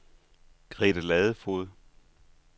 Grete Ladefoged